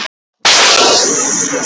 Nína Guðrún og Katrín.